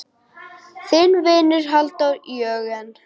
Þinn vinur, Halldór Jörgen.